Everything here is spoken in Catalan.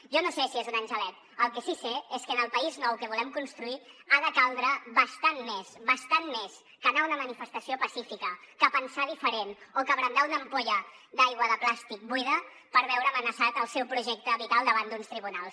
jo no sé si és un angelet el que sí sé és que en el país nou que volem construir ha de caldre bastant més bastant més que anar a una manifestació pacífica que pensar diferent o que brandar una ampolla d’aigua de plàstic buida per veure amenaçat el seu projecte vital davant d’uns tribunals